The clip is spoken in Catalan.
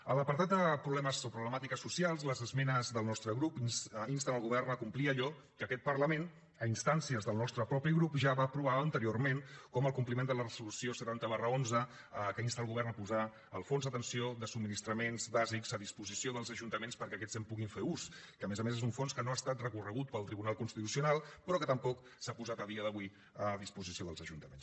a l’apartat de problemàtiques socials les esmenes del nostre grup insten el govern a complir allò que aquest parlament a instàncies del nostre propi grup ja va aprovar anteriorment com el compliment de la resolució setanta xi que insta el govern a posar el fons d’atenció de subministraments bàsics a disposició dels ajuntaments perquè aquests en puguin fer ús que a més a més és un fons que no ha estat recorregut pel tribunal constitucional però que tampoc s’ha posat a dia d’avui a disposició dels ajuntaments